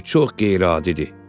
Bu çox qeyri-adidir.